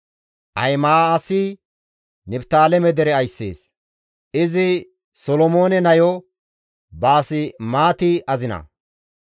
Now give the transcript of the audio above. Ahima7aasi Niftaaleme dere ayssees; izi Solomoone nayo Baasemaati azina.